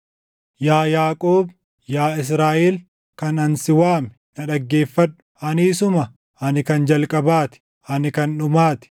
“Yaa Yaaqoob, Yaa Israaʼel kan ani si waame, na dhaggeeffadhu: Ani isuma; ani kan jalqabaa ti; ani kan dhumaa ti.